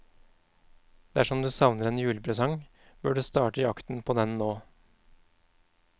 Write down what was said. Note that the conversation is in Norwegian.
Dersom du savner en julepresang, bør du starte jakten på den nå.